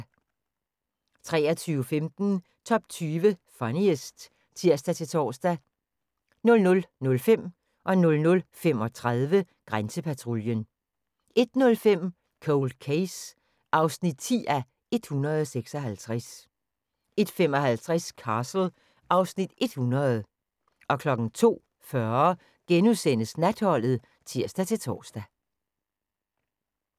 23:15: Top 20 Funniest (tir-tor) 00:05: Grænsepatruljen 00:35: Grænsepatruljen 01:05: Cold Case (10:156) 01:55: Castle (Afs. 100) 02:40: Natholdet *(tir-tor)